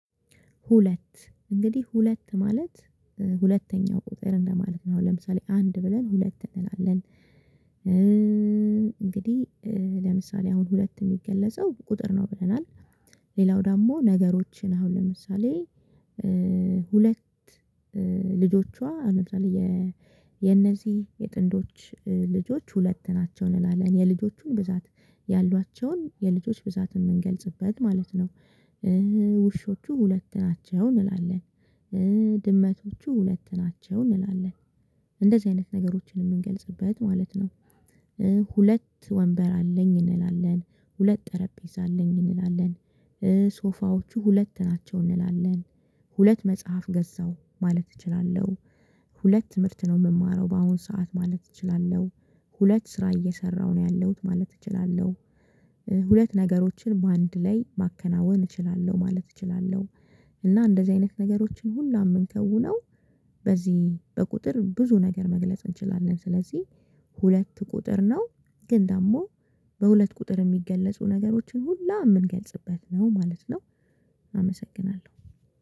ሁለት እንግዲህ ሁለት ማለት ሁለተኛው ቁጥር እንደማለት ነው አሁን ለምሳሌ አንድ ብለን ሁለት እንላለን፤ እንግዲህ ለምሳሌ አሁን ሁለት የሚገለጸው ቁጥር ነው ብለናል ሌላው ደግሞ ነገሮችን አሁን ለምሳሌ ሁለት ልጆቿ ለምሳሌ የእነዚህ የጥንዶች ልጆች ሁለት ናቸው እንላለን። የልጆቹን ብዛት ያሏቸውን የልጆች ብዛት የምንገልጽበት ማለት ነው። ውሾቹ ሁለት ናቸው እንላለን። ድመቶቹ ሁለት ናቸው እንላለን። እንደዚህ አይነት ነገሮችን የምንገልጽበት ማለት ነው። ሁለት ወንበር አለኝ እንላለን፤ ሁለት ጠረጴዛ አለኝ እንላለን። ሶፋዎቹ ሁለት ናቸው እንላለን። ሁለት መጽሐፍ ገዛው ማለት እችላለሁ። ሁለት ትምህርት ነው የምማረው በአሁን ሰዓት ማለት እችላለሁ፤ ሁለት ስራ እየሰራሁ ነው ያለሁት ማለት እችላለሁ፤ ሁለት ነገሮችን በአንድ ላይ ማከናወን እችላለሁ ማለት እችላለሁ። እና እንደዚህ አይነት ነገሮችን ሁላ ምንከውነው በዚህ በቁጥር ብዙ ነገር መግለጽ እንችላለን። ስለዚህ ሁለት ቁጥር ነው። ግን ደግሞ በሁለት ቁጥር የሚገለጹ ነገሮችን ሁላ የምንገልጽበት ነው ማለት ነው። አመሰግናለሁ።